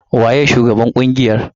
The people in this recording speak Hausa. Waye shugaban ƙungiyar?